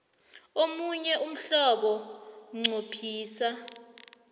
omunye umhlobo nqophisa